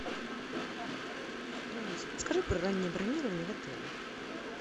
алиса подскажи про раннее бронирование в отеле